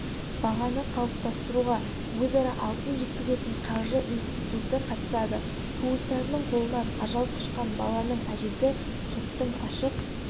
бағаны қалыптастыруға өзара алтын жеткізетін қаржы институты қатысады туыстарының қолынан ажал құшқан баланың әжесі соттың ашық